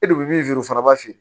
E de bɛ min feere o fana b'a feere